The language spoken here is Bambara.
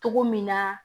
Cogo min na